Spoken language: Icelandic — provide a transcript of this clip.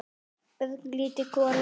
Örlítil gola.